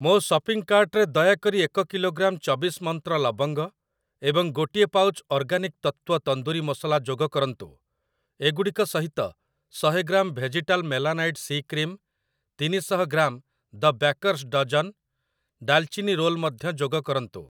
ମୋ ସପିଂ କାର୍ଟ୍‌ରେ ଦୟାକରି ଏକ କିଲୋଗ୍ରାମ ଚବିଶ ମନ୍ତ୍ର ଲବଙ୍ଗ ଏବଂ ଗୋଟିଏ ପାଉଚ୍ ଅର୍ଗାନିକ୍‌ ତତ୍ତ୍ଵ ତନ୍ଦୁରି ମସଲା ଯୋଗ କରନ୍ତୁ। ଏଗୁଡ଼ିକ ସହିତ, ଶହେ gram vegetal melanite C cream, ତିନି ଶହ ଗ୍ରାମ ଦ ବ୍ୟାକର୍ସ ଡଜନ ଡାଲ୍‌ଚିନି ରୋଲ୍ ମଧ୍ୟ ଯୋଗ କରନ୍ତୁ।